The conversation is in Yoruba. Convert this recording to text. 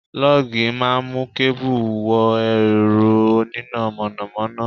Lọ́gì máa ń mú kẹ́bù wọ ẹ̀rọ oníná mọ̀nàmọ́ná.